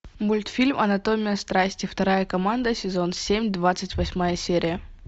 мультфильм анатомия страсти вторая команда сезон семь двадцать восьмая серия